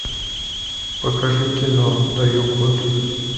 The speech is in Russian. покажи кино даю год